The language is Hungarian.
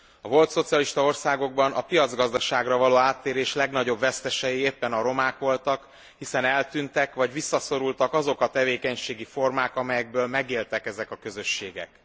A volt szocialista országokban a piacgazdaságra való áttérés legnagyobb vesztesei éppen a romák voltak, hiszen eltűntek, vagy visszaszorultak azok a tevékenységi formák, amelyekből megéltek ezek a közösségek.